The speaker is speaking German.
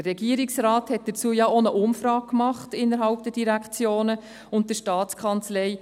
Der Regierungsrat hat dazu ja auch eine Umfrage innerhalb der Direktionen und der STA durchgeführt.